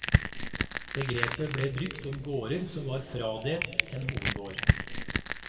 Begrepet ble brukt om gårder som var fradelt en hovedgård.